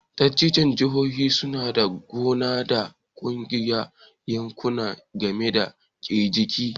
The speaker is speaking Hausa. Dattijon jihohi su na ganawa da waɗansu yanƙuna game da riƙicin.